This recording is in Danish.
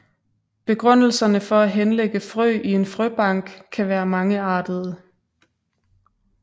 Begrundelserne for at henlægge frø i en frøbank kan være mangeartede